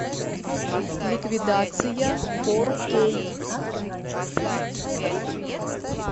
ликвидация фор кей